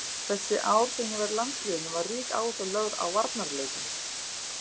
Þessi ár sem ég var í landsliðinu var rík áhersla lögð á varnarleikinn.